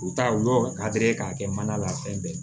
U ta u y'o ka teri k'a kɛ mana la fɛn bɛɛ